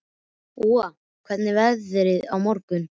Úa, hvernig verður veðrið á morgun?